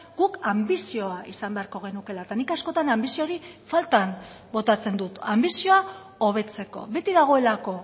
guk anbizioa izan beharko genukeela eta nik askotan anbizio hori faltan botatzen dut anbizioa hobetzeko beti dagoelako